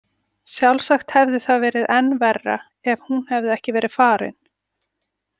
Sjálfsagt hefði það verið enn verra ef hún hefði ekki verið farin.